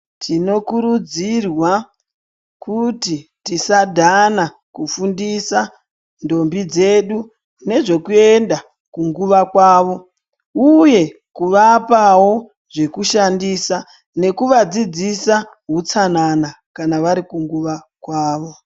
Tinokurudzirwa kuti tisadhana kufundisa ndombi dzedu nezvekuenda kunguva kwavo uye kuvapawo zvekushandisa nekuvadzidzisa hutsanana kana vari kunguva kwavo